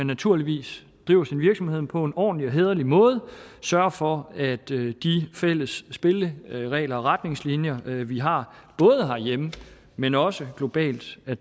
naturligvis driver sin virksomhed på en ordentlig og hæderlig måde og sørger for at de fælles spilleregler og retningslinjer vi vi har både herhjemme men også globalt bliver